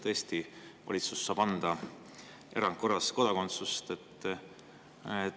Tõesti, valitsus saab anda kodakondsust erandkorras.